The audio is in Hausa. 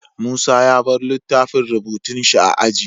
Musa ya bar littafin rubutun shi a aji